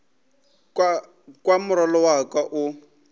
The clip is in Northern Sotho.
kwa morwalo wa ka o